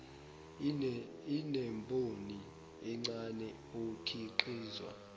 inemboni encane okhiqizwa